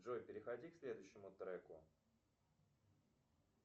джой переходи к следующему треку